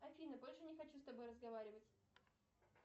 афина больше не хочу с тобой разговаривать